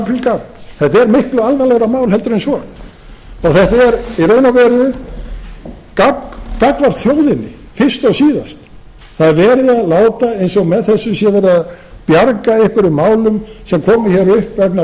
aprílgabb þetta er miklu alvarlegra mál en svo þetta er í raun og veru gabb gagnvart þjóðinni fyrst og síðast það er verið að láta eins og með þessu sé verið að bjarga einhverjum málum sem komu hér upp vegna